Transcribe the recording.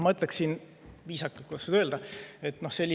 Ma ütleksin – kuidas oleks viisakas öelda?